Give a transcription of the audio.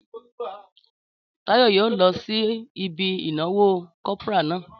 Táyọ̀ yóò lọ sí ibi ìnáwó kopara náà